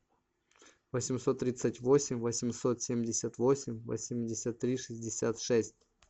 восемьсот тридцать восемь восемьсот семьдесят восемь восемьдесят три шестьдесят шесть